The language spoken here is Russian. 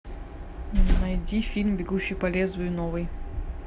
найди фильм бегущий по лезвию новый